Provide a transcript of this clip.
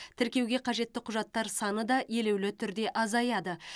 тіркеуге қажетті құжаттар саны да елеулі түрде азаяды